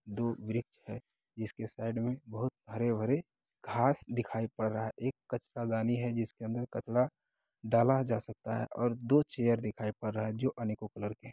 दो वृक्ष है जिसके साइड में बहुत हरे-भरे घास दिखाई पड़ रहा है एक कचरा दानी है जिसके अंदर कचरा डाला जा सकता है और दो चेयर दिखाई पड़ रहा है जो अनेकों कलर के हैं।